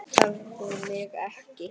Tefðu mig ekki.